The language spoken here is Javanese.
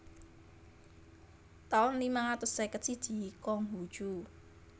taun limang atus seket siji Kong Hu Cu